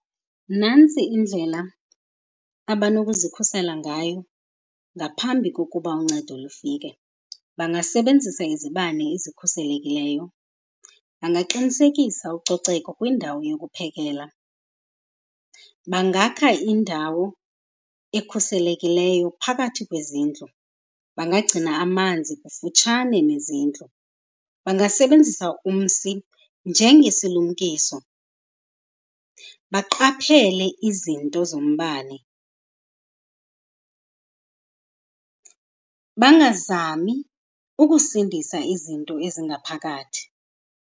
Nantsi indlela abanokuzikhusela ngayo ngaphambi kokuba uncedo lufike. Bangasebenzisa izibane ezikhuselekileyo, bangaqinisekisa ucoceko kwindawo yokuphekela, bangakha indawo ekhuselekileyo phakathi kwezindlu, bangagcina amanzi kufutshane nezindlu, bangasebenzisa umsi njengesilumkiso, baqaphele izinto zombane, bangazami ukusindisa izinto ezingaphakathi.